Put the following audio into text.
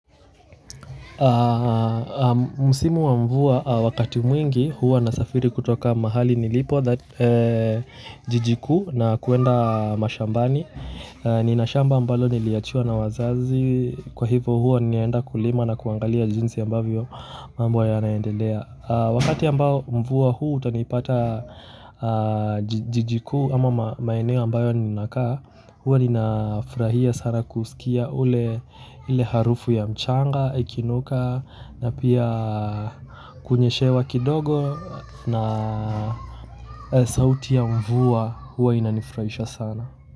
Msimu wa mvua wakati mwingi huwa nasafiri kutoka mahali nilipo jiji kuu na kuenda mashambani nina shamba ambalo niliachiwa na wazazi kwa hivo huwa ninaenda kulima na kuangalia jinsi ambavyo mambo yanaendelea wakati ambao mvua huu utanipata jiji kuu ama maeneo ambayo ninakaa huwa ninafurahia sana kusikia ule ili harufu ya mchanga, ikinuka na pia kunyeshewa kidogo na sauti ya mvua huwa inanifurahisha sana.